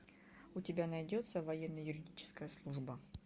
у тебя найдется военно юридическая служба